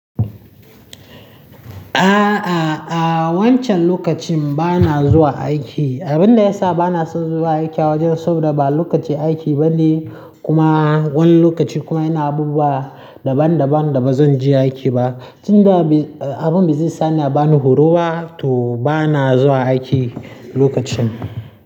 Aaa, aaa, aaa wancan lokacin ba na zuwa aiki. Abin da ya sa ba na son zuwa aiki a wajen saboda ba lokaci aiki ba ne kuma wani lokaci kuma yana abubuwa daban daban da ba zan je aiki ba. Tin da abin ba zai sani ba na horo ba to ba na zuwa aiki lokacin.